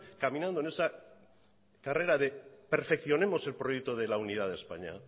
caminando en esa carrera de perfeccionemos el proyecto de la unidad de españa